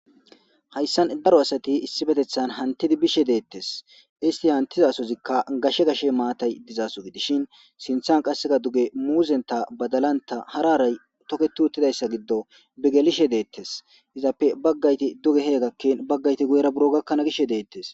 Hayssan daro asati issipoetethan hanttidi bishshe dettes isti hantiddi bizasozikka gashe gashe mattayi dizaso gidishen sinththan qasse dugge muzzenta baddalanta hara harayi tokketi uttidaysa giddon bi gelishshe dettes izappe baggayiti duge he gakkin bagayiti guyera he gakkana gishshe dettes.